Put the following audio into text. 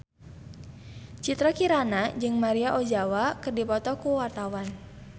Citra Kirana jeung Maria Ozawa keur dipoto ku wartawan